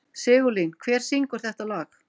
Sigurlín, hver syngur þetta lag?